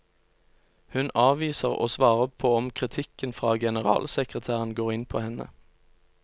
Hun avviser å svare på om kritikken fra generalsekretæren går inn på henne.